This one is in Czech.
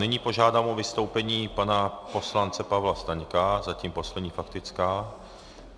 Nyní požádám o vystoupení pana poslance Pavla Staňka, zatím poslední faktická.